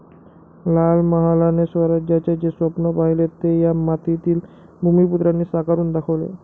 लाल महालाने स्वराज्याचे जे स्वप्न पहिले ते या मातीतील भूमिपुत्रांनी साकारून दाखवले.